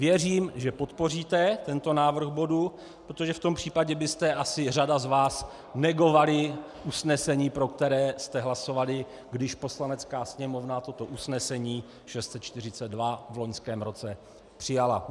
Věřím, že podpoříte tento návrh bodu, protože v tom případě by asi řada z vás negovala usnesení, pro které jste hlasovali, když Poslanecká sněmovna toto usnesení 642 v loňském roce přijala.